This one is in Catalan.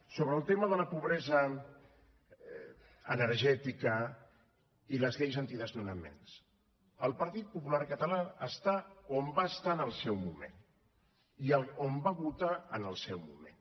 sobre el tema de la pobresa energètica i les lleis antidesnonaments el partit popular català està on va estar en el seu moment i on va votar en el seu moment